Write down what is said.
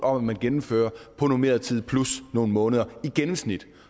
om at man gennemfører på normeret tid plus nogle måneder i gennemsnit